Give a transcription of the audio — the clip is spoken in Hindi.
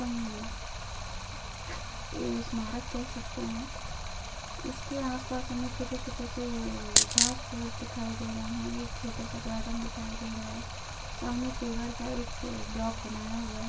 ये इस्मारक कह सखते है इसके आस-पास हमे छोटे-छोटे से घांस-फूंस दिखाई दे रहे है एक छोटा सा गार्डन दिखाई दे रहा है सामने का एक ब्लाक बनाया हुआ है जिसमे बैठ कर हम नज़ारा देख --